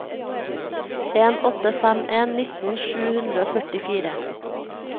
en åtte fem en nitten sju hundre og førtifire